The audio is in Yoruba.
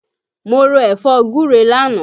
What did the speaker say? Mo ro ẹ̀fọ́ gúre lánàá